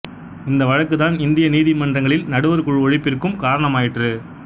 இந்த வழக்குதான் இந்திய நீதி மன்றங்களில் நடுவர் குழு ஒழிப்பிற்கும் காரணமாயிற்று